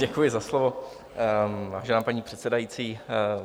Děkuji za slovo, vážená paní předsedající.